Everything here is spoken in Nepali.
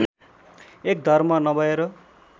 एक धर्म नभएर